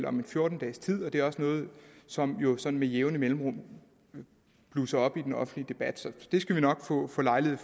om en fjorten dages tid og det er også noget som sådan med jævne mellemrum blusser op i den offentlige debat så det skal vi nok få lejlighed